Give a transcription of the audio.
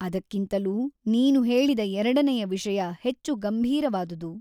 ಅದಕ್ಕಿಂತಲೂ ನೀನು ಹೇಳಿದ ಎರಡನೆಯ ವಿಷಯ ಹೆಚ್ಚು ಗಂಭೀರವಾದುದು.